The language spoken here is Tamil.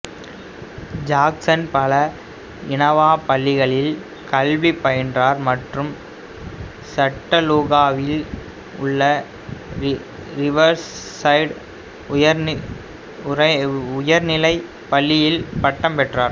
ஜாக்சன் பல இனவா பள்ளிகளில் கல்வி பயின்றார் மற்றும் சட்டனூகாவில் உள்ள ரிவர்சைடு உயர்நிலைப் பள்ளியில் பட்டம் பெற்றார்